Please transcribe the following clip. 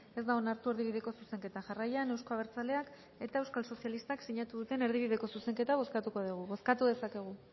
ez da onartu erdibideko zuzenketa jarraian euzko abertzaleak eta euskal sozialistak sinatu duten erdibideko zuzenketa bozkatuko dugu bozkatu dezakegu